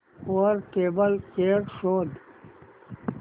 वर table chair शोध